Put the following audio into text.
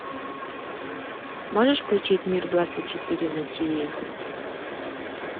можешь включить мир двадцать четыре на тиви